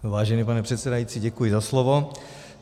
Vážený pane předsedající, děkuji za slovo.